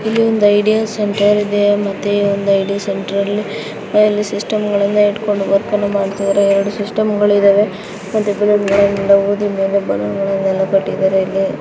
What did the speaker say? ಇಲ್ಲಿ ಒಂದು idea centre ಇದೆ ಮತ್ತೆ ಈ ಐಡಿಯಾ ಸೆಂಟರ ನಲ್ಲಿ ಅಲ್ಲಿ ಸಿಸ್ಟಮ ಗಳನ್ನ ಇಟ್ಟಕೊಂಡಿದ್ದಾರೆ ಎರಡು ಸಿಸ್ಟಮ ಗಳಿದ್ದಾವೆ --